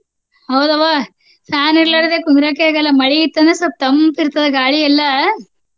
ಹೌದವ್ವ fan ಇರ್ಲಾರ್ದೆ ಕುಂದ್ರಾಕೆ ಆಗಲ್ಲ ಮಳಿ ಇತ್ತ ಅಂದ್ರ ಸ್ವಲ್ಪ ತಂಪ ಇರ್ತದ ಗಾಳಿ ಎಲ್ಲ.